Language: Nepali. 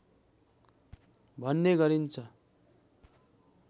भन्ने गरिन्छ